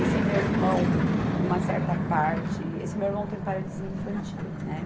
Esse meu irmão, numa certa parte... Esse meu irmão tem paralisia infantil, né?